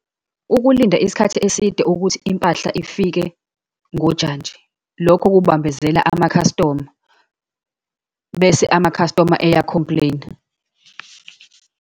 Ukulinda isikhathi eside ukuthi impahla ifike ngojantshi, lokho kubambezela ama-customer, bese ama-customer eya-complain-a.